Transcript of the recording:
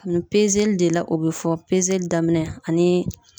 Kabini de la o be fɔ daminɛ ani